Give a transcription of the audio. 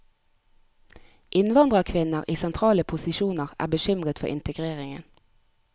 Innvandrerkvinner i sentrale posisjoner er bekymret for integreringen.